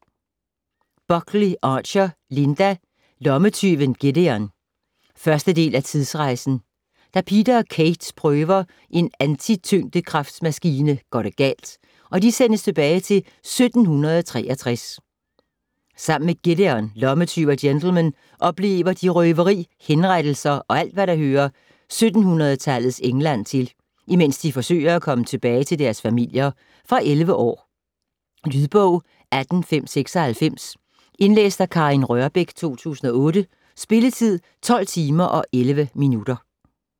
Buckley-Archer, Linda: Lommetyven Gideon 1. del af Tidsrejsen. Da Peter og Kate prøver en antityngdekraftmaskine går det galt, og de sendes tilbage til 1763. Sammen med Gideon, lommetyv og gentleman, oplever de røveri, henrettelser og alt hvad der hører 1700-tallets England til, imens de forsøger at komme tilbage til deres familier. Fra 11 år. Lydbog 18596 Indlæst af Karin Rørbech, 2008. Spilletid: 12 timer, 11 minutter.